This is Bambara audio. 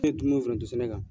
Ne foronto sɛnɛ kan.